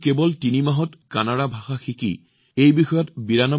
তেওঁ কেৱল তিনি মাহত কানাড়া শিকাই নহয় বৰঞ্চ ৯২ নম্বৰো পাইছিল